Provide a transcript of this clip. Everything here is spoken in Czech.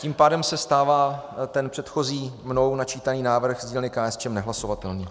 Tím pádem se stává ten předchozí mnou načítaný návrh z dílny KSČM nehlasovatelný.